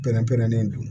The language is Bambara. Pɛrɛn pɛrɛnnen don